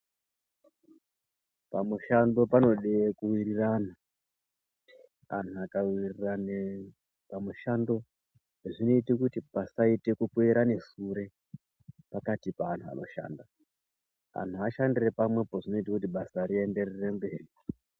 Pamushando panode kuwirirana anhu akaworirane pamushando zvinoite kuti pasaite kukwerane sure pakati peanhu anoshanda , anhu ashandira pamwepo zvinoita kuti basa rienderere mberi.